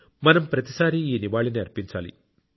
మనం ప్రతిసారీ ఈ నివాళిని అర్పించాలి